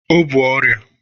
O bu ọrịa?